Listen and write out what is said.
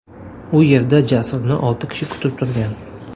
U yerda Jasurni olti kishi kutib turgan.